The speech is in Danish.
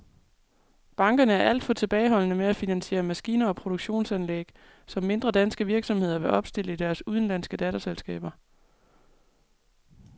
Bankerne er alt for tilbageholdende med at finansiere maskiner og produktionsanlæg, som mindre danske virksomheder vil opstille i deres udenlandske datterselskaber.